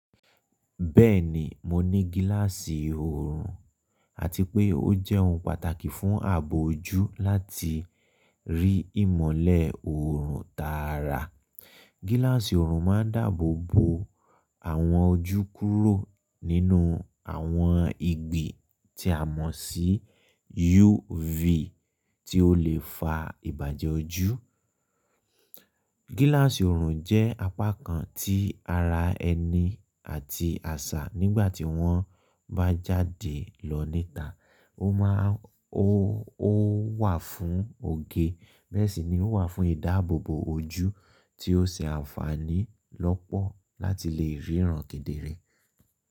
Bẹ́ẹ̀ni, mo ní gíláàsì oorun àti pé ó jẹ́ ohun pàtàkì fún ààbò ojú láti rí ìmọ̀lẹ̀ oorun tààrà. Gíláàsì oorun máa ń dáàbò bo àwọn ojú kúrò nínú àwọn ìgbì tí a mọ̀ sí UV tí ó lè fa ìbàjẹ́ ojú. Gíláàsì oorun jẹ́ apakan ti ara ẹni àti àṣà nígbàtí wọ́n bá jáde lọ níta. Ó máa ń ó wà fún oge, bẹ́ẹ̀ sì ni ó wà fún ìdáàbò bo ojú tí ó ṣe àǹfààní lọ́pọ̀ láti lè ríran kedere.